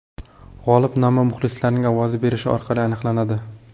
G‘olib nomi muxlislarning ovoz berishi orqali aniqlanadi.